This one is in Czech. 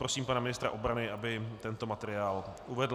Prosím pana ministra obrany, aby tento materiál uvedl.